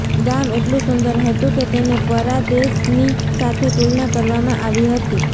ગામ એટલું સુંદર હતું કે તેને પારાદેશની સાથે તુલના કરવામાં આવી હતી